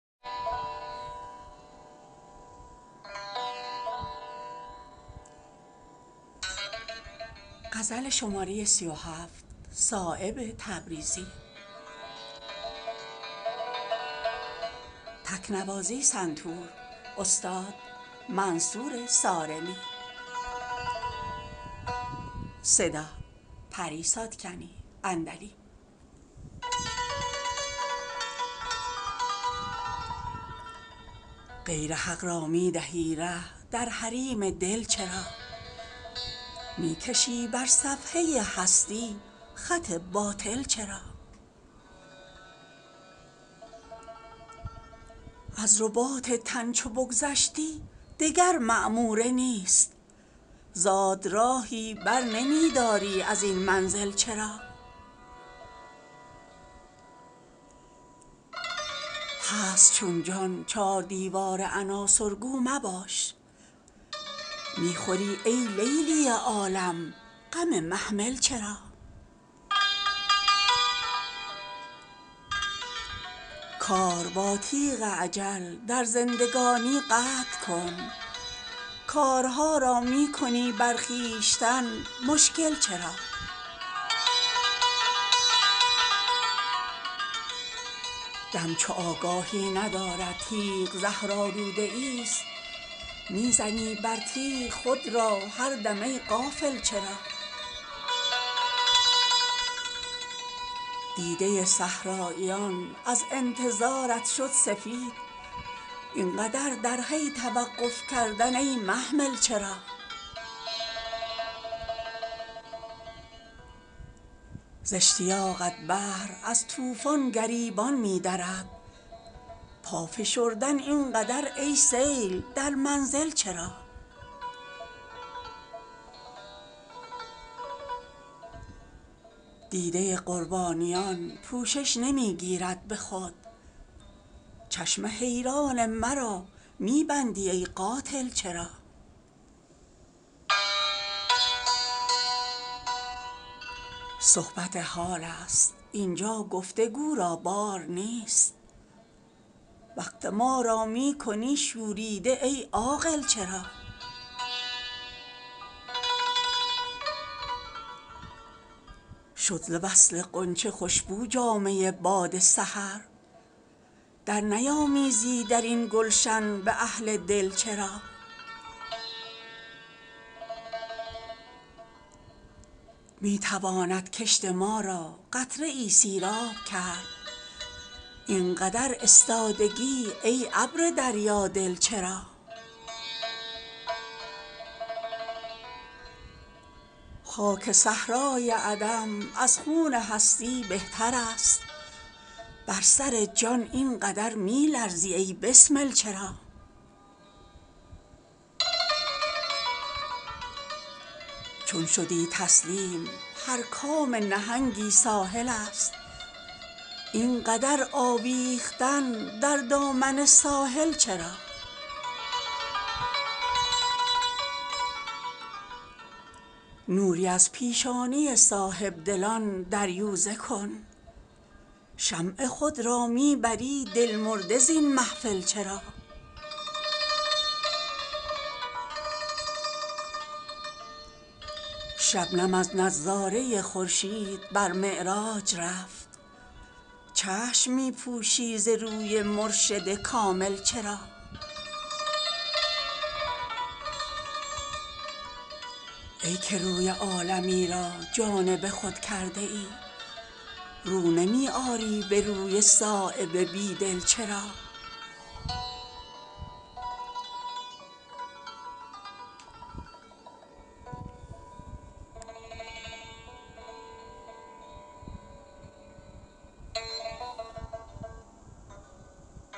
غیر حق را می دهی ره در حریم دل چرا می کشی بر صفحه هستی خط باطل چرا از رباط تن چو بگذشتی دگر معموره نیست زاد راهی بر نمی داری ازین منزل چرا هست چون جان چار دیوار عناصر گو مباش می خوری ای لیلی عالم غم محمل چرا کار با تیغ اجل در زندگانی قطع کن کارها را می کنی بر خویشتن مشکل چرا دم چو آگاهی ندارد تیغ زهرآلوده ای است می زنی بر تیغ خود را هر دم ای غافل چرا دیده صحراییان از انتظارت شد سفید اینقدر در حی توقف کردن ای محمل چرا ز اشتیاقت بحر از طوفان گریبان می درد پا فشردن اینقدر ای سیل در منزل چرا دیده قربانیان پوشش نمی گیرد به خود چشم حیران مرا می بندی ای قاتل چرا صحبت حال است اینجا گفتگو را بار نیست وقت ما را می کنی شوریده ای عاقل چرا شد ز وصل غنچه خوشبو جامه باد سحر در نیامیزی درین گلشن به اهل دل چرا می تواند کشت ما را قطره ای سیراب کرد اینقدر استادگی ای ابر دریا دل چرا خاک صحرای عدم از خون هستی بهتر است بر سر جان اینقدر می لرزی ای بسمل چرا چون شدی تسلیم هر کام نهنگی ساحل است اینقدر آویختن در دامن ساحل چرا نوری از پیشانی صاحبدلان دریوزه کن شمع خود را می بری دلمرده زین محفل چرا شبنم از نظاره خورشید بر معراج رفت چشم می پوشی ز روی مرشد کامل چرا ای که روی عالمی را جانب خود کرده ای رو نمی آری به روی صایب بیدل چرا